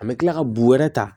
An bɛ tila ka buru wɛrɛ ta